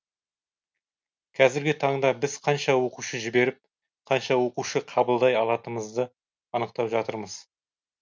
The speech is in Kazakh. қазіргі таңда біз қанша оқушы жіберіп қанша оқушы қабылдай алатынымызды анықтап жатырмыз